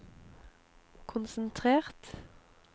konsentrert